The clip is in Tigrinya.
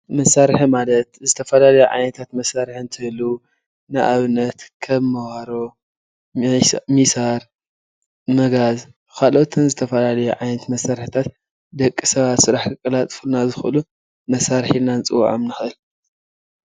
መሳርሒ ማለት ዝተፈላለዩ ዓይነታት መሳርሒ እንትህልዉ ንኣብነት ከም መባሮ ፣ሚሳር ፣መጋዝ ካልኦትን ዝተፈላለዩ ዓይነታት መሳርሒታት ደቂ ሰባት ስራሕ ከቃላጥፉልና ዝክእሉ መሳርሒ ኢልና ክንፅዎዖም ንክእል ፡፡